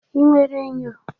Ị nwere enyo?